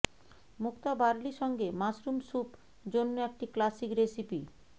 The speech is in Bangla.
মুক্তা বার্লি সঙ্গে মাশরুম স্যুপ জন্য একটি ক্লাসিক রেসিপি